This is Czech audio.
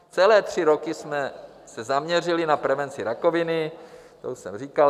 Celé tři roky jsme se zaměřili na prevenci rakoviny - to už jsem říkal.